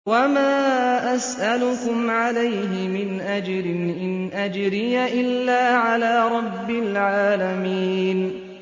وَمَا أَسْأَلُكُمْ عَلَيْهِ مِنْ أَجْرٍ ۖ إِنْ أَجْرِيَ إِلَّا عَلَىٰ رَبِّ الْعَالَمِينَ